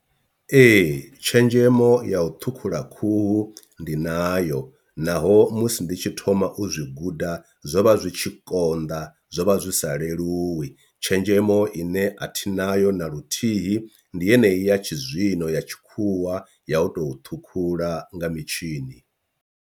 Ee, tshenzhemo ya u ṱhukhula khuhu ndi nayo naho musi ndi tshi thoma u zwi guda zwo vha zwi tshi konḓa zwo vha zwi sa leluwi tshenzhemo ine athi nayo na luthihi ndi yeneyi ya tshizwino ya tshikhuwa ya u tou ṱhukhula nga mitshini.